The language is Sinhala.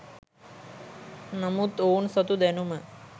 නමුත් ඔවුන් සතු දැනුම